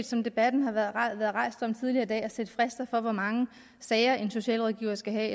som debatten har været rejst tidligere i dag at sætte frister for hvor mange sager en socialrådgiver skal have